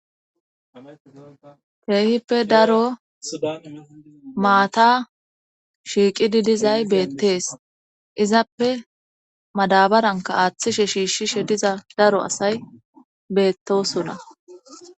Keehippe daro maata shiiqidi dizay beettees izappe madabaranka aaththishe shiishshishe diza daro asay beettosona.